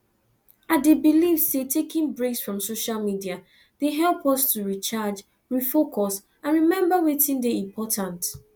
i dey believe say taking breaks from social media dey help us to recharge refocus and remember wetin dey important